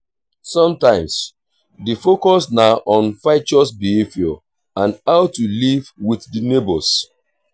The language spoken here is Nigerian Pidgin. sometimes di focus na on virtuous behavior and how to live with di neigbours